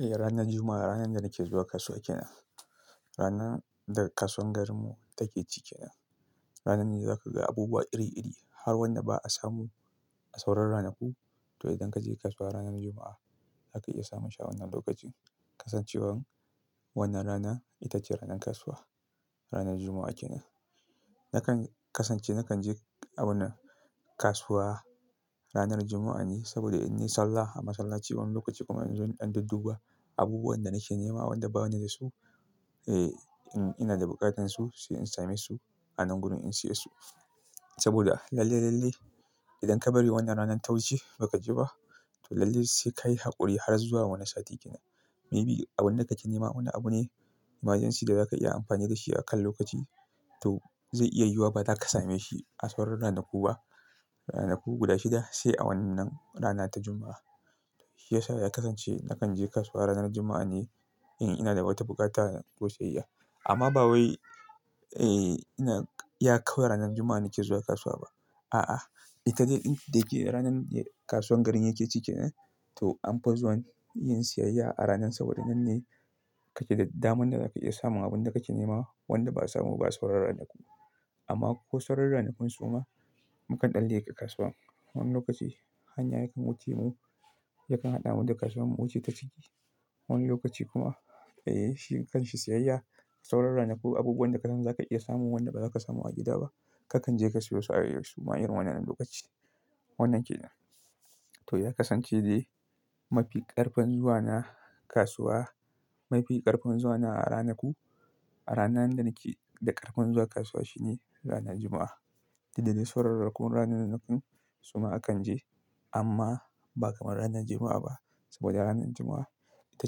Eh ranar Juma'a, ranar da nake zuwa kasuwa kina rana da kasuwar garinmu take ci kenan. Ranar ne zaka ga abubuwa iri-iri har wanda ba a samu a sauran ranaku. To idan kaje kasuwa ranar Juma'a zaka iya samun shi a wannan lokacin. Kasancewan wannan rana ita ce ranar kasuwa. Ranar Juma'a kina. Nakan kasance nakan je abun kasuwa ranar Juma'a ne saboda in yi sallah a masallaci wani lokaci kuma in zo in dudduba abubuwan da nake nema wanda bani da su. Eh, in ina da buƙatansu sai in same su a nan gurin in siya su. Saboda lalle, lalle idan ka bari wannan ranan ta wuce ba ka je ba to lalle sai kayi haƙuri har zuwa wani sati kina. Maybe abun da kake nema wani abu ne emajensi da zaka iya amfani da shi akan lokaci to zai iya yiwuwa ba za ka same shi a sauran ranaku ba. Ranaku guda shida sai a wannan rana ta Juma'a. Shi yasa ya kasance nakan je kasuwa ranar Juma'a ne in ina da wata buƙata ko siyayya. Amma ba wai, eh, na ya kau ranar Juma'a nake zuwa kasuwa ba. A'a, ita dalilin da ke ranar ne kasuwar garin yake cike da. To an fi zuwan yin siyayya a ranar saboda nan ne kake da daman da zaka iya samun abun da kake nema wanda ba a samu ba sauran ranaku. Amma ko sauran ranakun suma mukan ɗalle ka kasuwan. Wani lokaci hanya yakan wuce mu, yakan haɗa mu da kasuwan mu wuce ta ciki. Wani lokaci kuma, eh, shi kan shi siyayya sauran ranaku abubuwan da ka san za ka iya samun wanda ba za ka samu a gida ba kakan je ka siyo su a yaushe ma irin wannan lokaci. Wannan ke nan. To ya kasance dai mafi ƙarfen zuwa na kasuwa, mafi ƙarfen zuwana a ranaku, a rana da nake da ƙarfen zuwa kasuwa shine rana Juma'a. Da dade sauran rakunan ranan nan kun suma akan je amma ba kamar ranar Juma'a ba saboda ranar Juma'a ita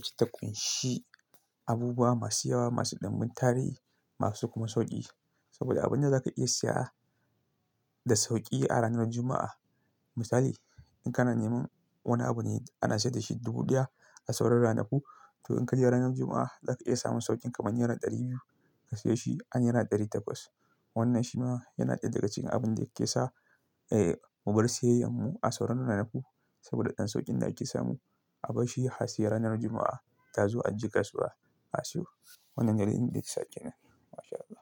ce takunshi abubuwa masu yawa, masu ɗumbin tarihi, masu kuma sauƙi. Saboda abin da za ka iya siya da sauƙi a ranar Juma'a. Misali in kana neman wani abu ne ana sayar da shi dubu ɗaya a sauran ranaku to in kaje ranar Juma'a za ka iya samun sauƙin kamar naira ɗari biyu ka siyo shi a naira ɗari takwas. Wannan shi ma yana ɗaya daga cikin abun da yake sa, eh, mu bar siyayyar mu a sauran ranaku saboda ɗan sauƙin da yake samu abashi ya siya ranar Juma'a ta zuwa an je kasuwa a siyo. Wannan dalilin da yake sake nan. MashAllah.